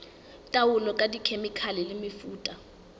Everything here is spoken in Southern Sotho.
taolo ka dikhemikhale le mefuta